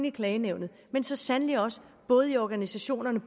i klagenævnene men så sandelig også i organisationerne